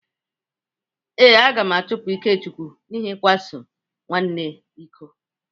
Ee, a ga-achụpụ Ikechukwu n’ihi ịkwa so nwanne iko.